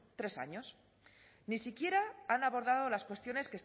tres años ni siquiera han abordado las cuestiones